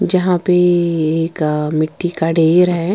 जहां पे एक मिट्टी का ढेर हैं।